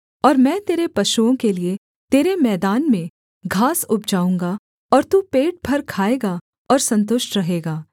और मैं तेरे पशुओं के लिये तेरे मैदान में घास उपजाऊँगा और तू पेट भर खाएगा और सन्तुष्ट रहेगा